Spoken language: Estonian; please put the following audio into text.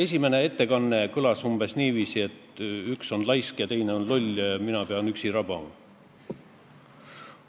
Esimene ettekanne kõlas umbes niiviisi, et üks on laisk, teine on loll ja mina pean üksi rabama.